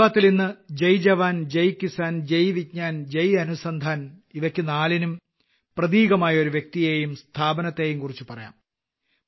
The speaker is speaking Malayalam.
മൻ കി ബാത്ത്ലിന്ന് ജയ് ജവാൻ ജയ് കിസാൻ ജയ് വിജ്ഞാൻ ജയ് അനുസന്ധാൻ ഇവയ്ക്ക് നാലിനും പ്രതീകമായ ഒരു വ്യക്തിയേയും സ്ഥാപനത്തെക്കുറിച്ചും പറയാം